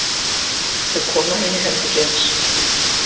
Þau koma inn í herbergið hans.